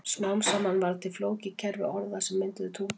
Smám saman varð til flókið kerfi orða sem mynduðu tungumál.